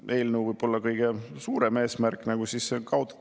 Kui rääkida konkreetselt sellest eelnõust, siis, et kaotatakse maksusoodustused.